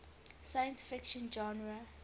science fiction genre